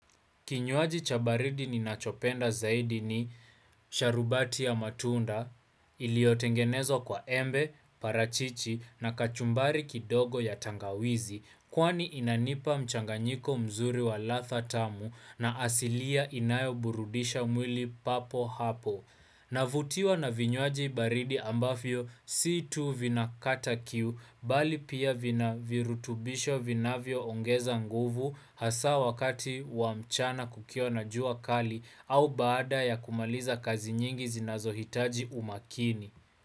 Kinywaji cha baridi ninachopenda zaidi ni sharubati ya matunda iliyotengenezwa kwa embe, parachichi na kachumbari kidogo ya tangawizi kwani inanipa mchanganyiko mzuri wa radha tamu na asilia inayo burudisha mwili papo hapo. Navutiwa na vinywaji baridi ambavyo si tu vinakata kiu mbali pia vina virutubisho vinavyo ongeza nguvu hasa wakati wa mchana kukiwa jua kali au baada ya kumaliza kazi nyingi zinazohitaji umakini.